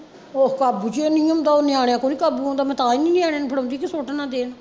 ਉਹ ਕਾਬੂ ਚ ਓ ਨੀ ਆਉਂਦਾ ਨਿਆਣਿਆ ਤੋਂ ਨੀ ਕਾਬੂ ਆਉਂਦਾ ਮੈਂ ਤਾਂ ਈ ਨਿਆਣਿਆ ਨੂੰ ਫੜਾਉਂਦੀ ਵੀ ਸੁੱਟ ਨਾ ਦੇਣ